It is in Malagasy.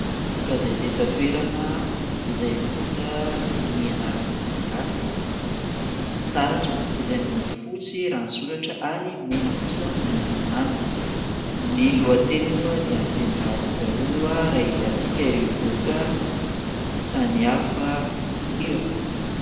ka izay tetatoerana izay mipondra ny anarana malagasy taratra izay milokofotsy raha nysoratra ary mena kosa no mandidina azy ny lohately moa dia amin'ny teny gasykaolo ahy rahahita antsika ireo doka samihafa ireo